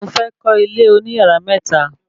Mo fẹ́ kọ́ ilé oní yàrá mẹ́ta